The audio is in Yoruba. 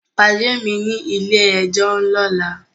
Pade mi ni ile-ẹjọ lọla!